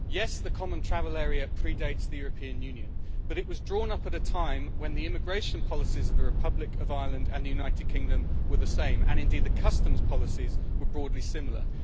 Yes, the Common Travel Area predates the European Union, but it was drawn up at a time when the immigration policies of the Republic of Ireland and the United Kingdom were the same, and indeed the customs policies were broadly similar.